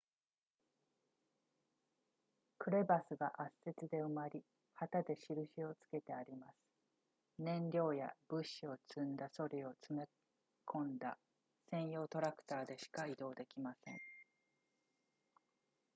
クレバスが圧雪で埋まり旗で印をつけてあります燃料や物資を積んだソリを積み込んだ専用トラクターでしか移動できません